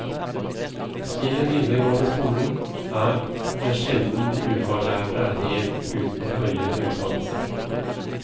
I den videregående skolen er det sjelden de ufaglærte er helt uten høyere utdannelse.